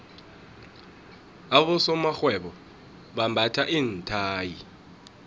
abosomarhwebo bambatha iinthayi